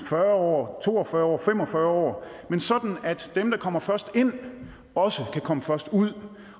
fyrre år to og fyrre år fem og fyrre år men sådan at dem der kommer først ind også kan komme først ud